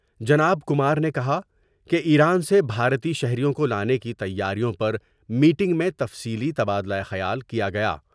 جناب کمار نے کہا کہ ایران سے بھارتی شہریوں کو لانے کی تیاریوں پر میٹنگ میں تفصیلی تبادلہ خیال کیا گیا ۔